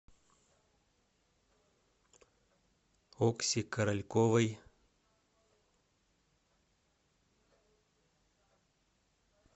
окси корольковой